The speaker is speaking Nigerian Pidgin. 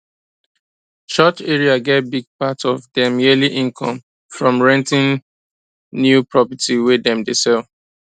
church area get big part of dem yearly income from renting pew property wey dem dey sell